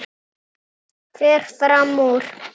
Fer fram úr.